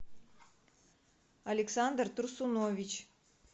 александр турсунович